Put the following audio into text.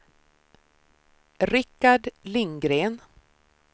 Rikard Lindgren